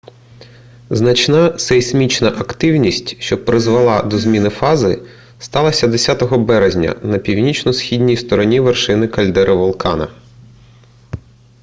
значна сейсмічна активність що призвела до зміни фази сталася 10 березня на північно-східній стороні вершини кальдери вулкана